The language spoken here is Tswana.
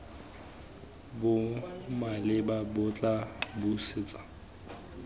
bo maleba bo tla busetsa